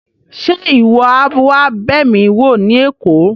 Ṣe iwọ a wa b'emi wo ni Èkó?